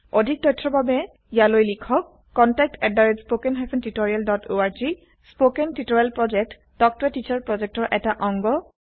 অধিক তথ্যৰ বাবে লিখক contactspoken tutorialorg কথন শিক্ষণ প্ৰকল্প তাল্ক ত a টিচাৰ প্ৰকল্পৰ এটা অংগ